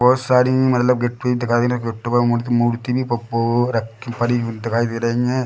बहोत सारी मतलब गिफ्टें दिखाई दे रही गिफ्टें ऑक्टोपस की मूर्ति भी पो पो रखी पड़ी हुई दिखाई दे रही है।